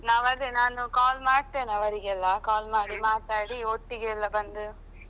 Okay ಆಯ್ತಾಯ್ತು. ನಾವು ಅದೇ ನಾನು call ಮಾಡ್ತೇನೆ ಅವರಿಗೆಲ್ಲಾ call ಮಾಡಿ ಮಾತಾಡಿ ಒಟ್ಟಿಗೆಲ್ಲಾ ಬಂದು.